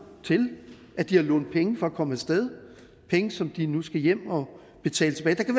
til at de har lånt penge for at komme af sted penge som de nu skal hjem og betale tilbage